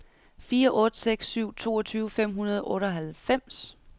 fire otte seks syv toogtyve fem hundrede og otteoghalvfems